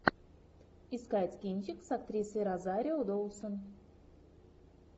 искать кинчик с актрисой розарио доусон